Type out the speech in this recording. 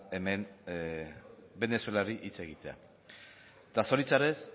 hemen venezuelari hitz egitea eta zoritxarrez